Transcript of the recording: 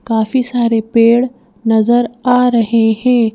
काफी सारे पेड़ नजर आ रहे हैं।